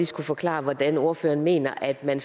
skulle forklare hvordan ordføreren mener at man